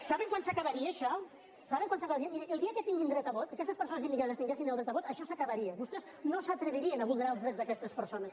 saben quan s’acabaria això saben quan s’acabaria mirin el dia que tinguin dret a vot si aquestes persones immigrades tinguessin dret a vot això s’acabaria vostès no s’atrevirien a vulnerar els drets d’aquestes persones